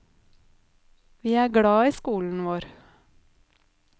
Vi er glad i skolen vår.